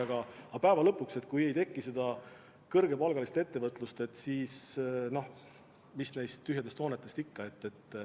Aga päeva lõpuks on nii, et kui ei teki kõrgepalgaliste töötajatega ettevõtlust, siis mis neist tühjadest hoonetest kasu on.